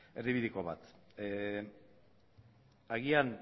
erdibideko bat agian